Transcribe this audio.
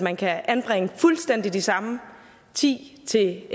man kan anbringe de fuldstændig samme ti til